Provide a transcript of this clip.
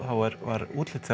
var útlitið